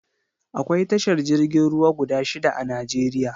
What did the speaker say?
Akwai tashar jirgin ruwa guda shida a Najeriya